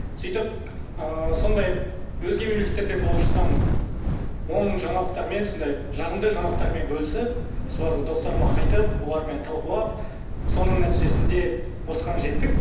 сөйтіп ыыы сондай өзге мемлекеттерде болып жатқан оң жаңалықтармен сондай жағымды жаңалықтармен бөлісіп соларды достарыма айтып олармен талқылап соның нәтижесінде осыған жеттік